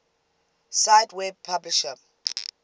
cite web publisher